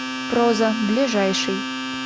проза ближайший